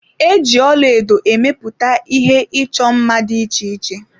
E ji ọlaedo emepụta ihe ịchọ mma dị iche iche.